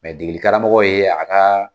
Mɛ degeli karamɔgɔ ye a ka